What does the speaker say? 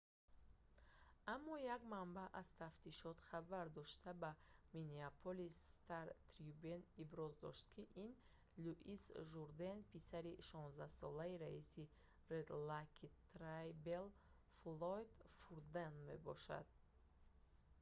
аммо як манбаъ аз тафтишот хабар дошта ба миннеаполис стар-трибюн иброз дошт ки ин луис журден писари 16-солаи раиси red lake tribal флойд фурден мебошад